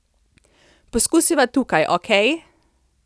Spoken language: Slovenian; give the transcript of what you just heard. Poskusiva tukaj, okej?